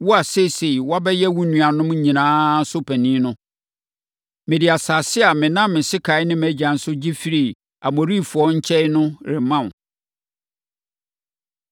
Wo a seesei woabɛyɛ wo nuanom nyinaa so panin no, mede asase a menam me sekan ne mʼagyan so gye firii Amorifoɔ nkyɛn no rema wo.”